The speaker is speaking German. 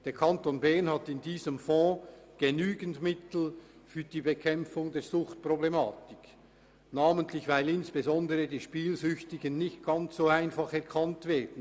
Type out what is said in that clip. Der Kanton Bern hat in diesem Fonds genügend Mittel für die Bekämpfung der Suchtproblematik, weil insbesondere die Spielsüchtigen nicht ganz einfach erkannt werden.